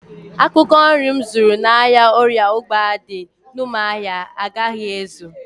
Akwụkwọ nri m zụrụ n'ahịa orie ụgba dị n'ụmụahia agaghị ezu